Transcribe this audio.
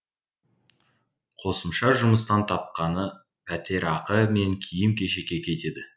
қосымша жұмыстан тапқаны пәтерақы мен киім кешекке кетеді